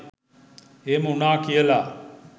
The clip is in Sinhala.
එහෙම වුනා කියල